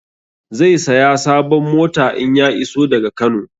Zai saya sabon mota in ya iso daga Kano